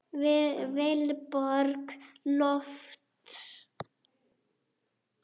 Vilborg Lofts.